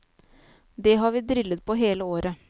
Det har vi drillet på hele året.